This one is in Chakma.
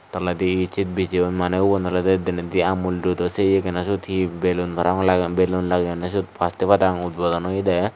toledi hicche bijeyon maneh ubon olodey denendi amul doodo se yegeno siyot hee belun parapang lageyon belun lageyonne siyot faste padang utbodon oyedey.